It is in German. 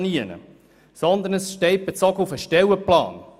Es steht «bezogen auf den Stellenplan».